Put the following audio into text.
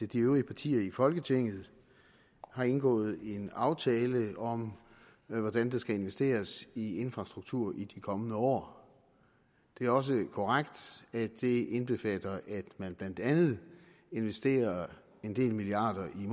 de øvrige partier i folketinget har indgået en aftale om hvordan der skal investeres i infrastruktur i de kommende år det er også korrekt at det indbefatter at man blandt andet investerer en del milliarder i